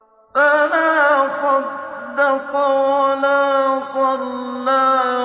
فَلَا صَدَّقَ وَلَا صَلَّىٰ